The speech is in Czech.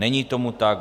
Není tomu tak.